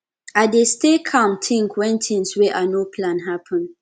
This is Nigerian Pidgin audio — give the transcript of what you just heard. i dey stay calm tink wen tins wey i no plan happen